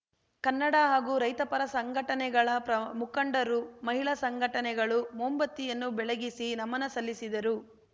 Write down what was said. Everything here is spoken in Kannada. ಕನ್ನಡ ಹಾಗೂ ರೈತಪರ ಸಂಘಟನೆಗಳ ಪ್ರ ಮುಖಂಡರು ಮಹಿಳಾ ಸಂಘಟನೆಗಳು ಮೊಂಬತ್ತಿಯನ್ನು ಬೆಳಗಿಸಿ ನಮನ ಸಲ್ಲಿಸಿದರು